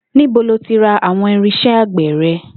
Níbo lo ti ra àwo̩n irins̩é̩ àgbè̩ re̩?